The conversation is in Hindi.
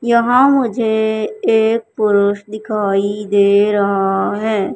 यहां मुझे एक पुरुष दिखाई दे रहा है।